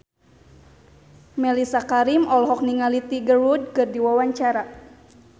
Mellisa Karim olohok ningali Tiger Wood keur diwawancara